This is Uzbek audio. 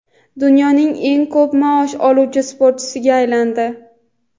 dunyoning eng ko‘p maosh oluvchi sportchisiga aylandi.